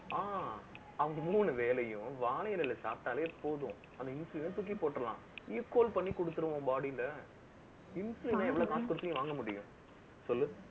ஆஹ் அந்த மூணு வேளையும், வாழை இலையில சாப்பிட்டாலே போதும். அந்த insulin அ தூக்கி போட்டிரலாம். equal பண்ணி கொடுத்திருவோம், body ல Insulin ல எவ்வளவு காசு கொடுத்து நீங்க வாங்க முடியும் சொல்லு